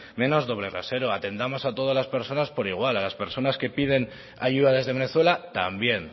menos doble rasero atendamos a todas las personas por igual a las personas que piden ayuda desde venezuela también